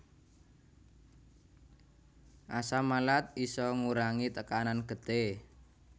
Asam malat isa ngurangi tekanan getih